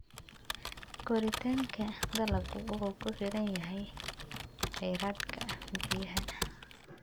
Koritaanka dalaggu wuxuu ku xiran yahay kheyraadka biyaha.